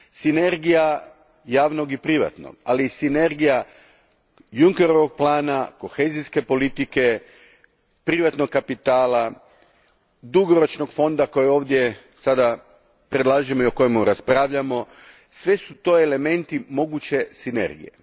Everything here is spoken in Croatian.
Sinergija javnog i privatnog, ali i sinergija Junckerovog plana, kohezijske politike, privatnog kapitala, dugoročnog fonda kojeg ovdje predlažem i o kojem raspravljamo sve su to elementi moguće sinergije.